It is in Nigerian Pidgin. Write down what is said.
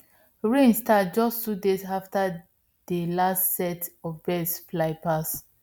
rain start just two days after dey last set of birds fly pass